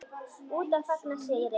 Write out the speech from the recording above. Úti að fagna sigri.